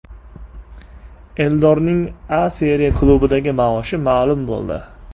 Eldorning A Seriya klubidagi maoshi ma’lum bo‘ldi !